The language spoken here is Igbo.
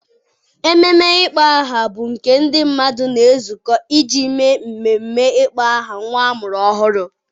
Ememe ịkpọ aha bụ nke ndị mmadụ na-ezukọ iji mee mmemme ịkpọ aha nwa a mụrụ ọhụrụ.